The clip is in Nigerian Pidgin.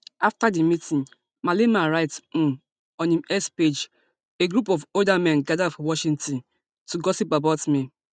afta di meeting malema write um on im x page a group of older men gada for washington to gossip about me